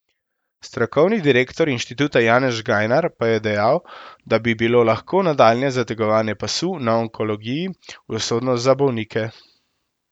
Strokovni direktor inštituta Janez Žgajnar pa je dejal, da bi bilo lahko nadaljnje zategovanje pasu na onkologiji usodno za bolnike.